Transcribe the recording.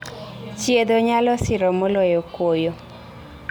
Chiedho nyalo siro moloyo kuoyo